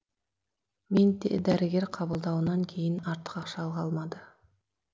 менде дәрігер қабылдауынан кейін артық ақша қалмады